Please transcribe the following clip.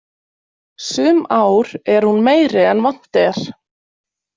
Sum ár er hún meiri en vant er.